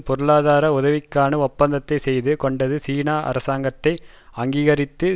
பொருளாதார உதவிக்கான ஒப்பந்தத்தை செய்து கொண்டது சீன அரசாங்கத்தை அங்கீகரித்தது